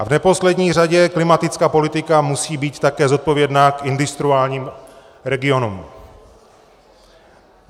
A v neposlední řadě klimatická politika musí být také zodpovědná k industriálním regionům.